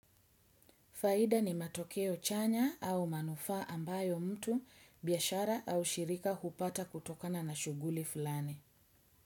Faida ni matokeo chanya au manufaa ambayo mtu, biashara au shirika hupata kutokana na shughuli fulani.